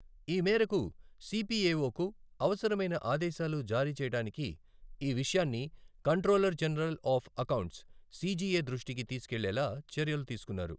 ఈ మేరకు సిపిఎఓకు అవసరమైన ఆదేశాలు జారీ చేయడానికి ఈ విషయాన్ని controller general of accounts CGA దృష్టికి తీసుకెళ్లేలా చర్యలు తీసుకున్నారు.